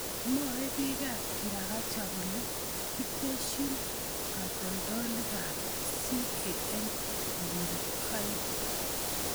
Mwoe bikab kirakacha kole kitesyin katoltolikab CAN konyil oeng'.